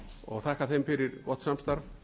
og þakka þeim fyrir gott samstarf